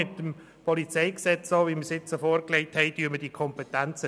Mit dem PolG, das wir vorgelegt haben, teilen wir diese Kompetenzen.